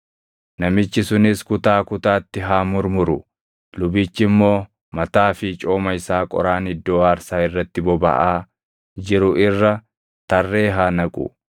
Namichi sunis kutaa kutaatti haa murmuru; lubichi immoo mataa fi cooma isaa qoraan iddoo aarsaa irratti bobaʼaa jiru irra tarree haa naqu.